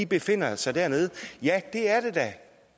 befinder sig dernede ja det er det da